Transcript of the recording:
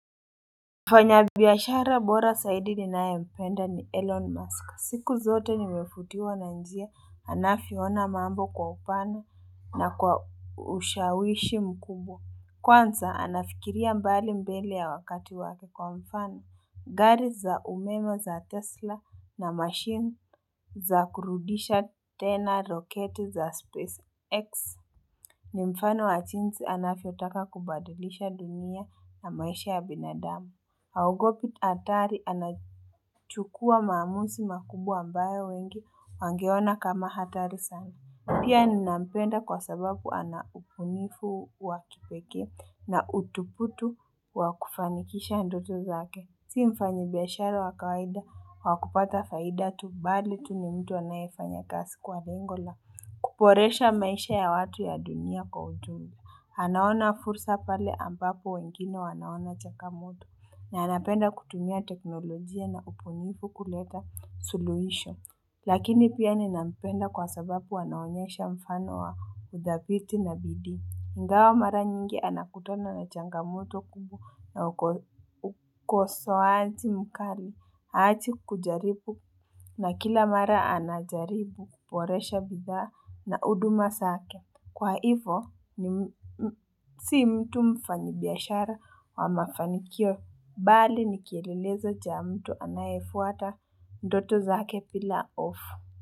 Mfanya biashara bora zaidi ninayempenda ni Elon Musk, siku zote nimevutiwa na njia anavyoona mambo kwa upana na kwa ushawishi mkubwa. Kwanza anafikiria mbali mbele ya wakati wake kwa mfano gari za umeme za tesla na machine za kurudisha tena roketi za space x ni mfano wa jinsi anavyotaka kubadilisha dunia na maisha ya binadamu. Haogopi hatari anachukuwa maamuzi makubwa ambayo wengi wangeona kama hatari sana Pia ninampenda kwa sababu ana ubunifu wakipekee na uthubutu wa kufanikisha ndoto zake. Si mfanyi biashara wa kawida wakupata faida tu bali tu ni mtu anayefanya kazi kwa lengo la. Kuboresha maisha ya watu ya dunia kwa ujumla. Anaona fursa pale ambapo wengine wanaona changamoto na anapenda kutumia teknolojia na ubunifu kuleta suluhisho. Lakini pia ninampenda kwa sababu anaonyesha mfano wa udhabiti na bidii. Ingawa mara nyingi anakutano na changamoto kubwa na ukosoaji mkali haachi kujaribu na kila mara anajaribu kuboresha bidhaa na huduma zake. Kwa hivyo, si mtu mfanyi biashara wa mafanikio, bali ni kielelezo cha mtu anayefuata ndoto zake bila hofu.